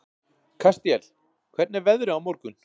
Kastíel, hvernig er veðrið á morgun?